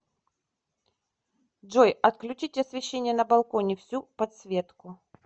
джой отключить освещение на балконе всю подсветку